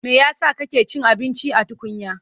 Me ya sa kake cin abinci a tukunya?